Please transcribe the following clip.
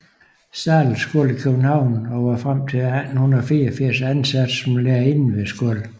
Zahles Skole i København og var frem til 1884 ansat som lærerinde ved skolen